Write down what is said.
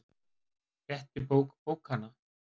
Fletti bók bókanna.